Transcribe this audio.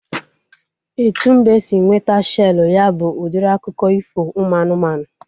Etu mbe si nweta shelu ya bụ udiri akụkọ ifo ụmụ anụmanụ